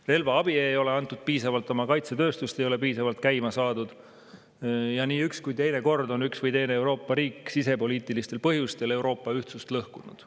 Relvaabi ei ole antud piisavalt, oma kaitsetööstust ei ole piisavalt käima saadud ja nii mõnelgi korral on üks või teine Euroopa riik sisepoliitilistel põhjustel Euroopa ühtsust lõhkunud.